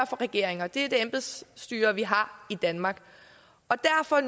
for regeringer det er det embedsstyre vi har i danmark og derfor er